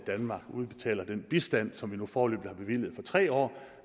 danmark udbetaler den bistand som vi nu foreløbig har bevilget for tre år